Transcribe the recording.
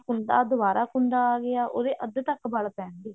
ਕੁੰਦਾ ਦਵਾਰਾ ਕੁੰਦਾ ਆ ਗਿਆ ਉਹਦੇ ਅੱਧ ਤੱਕ ਵਲ ਪੈਣਗੇ